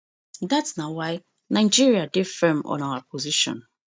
dat na why nigeria dey firm on our position